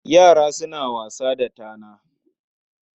Yara suna wasa da tana.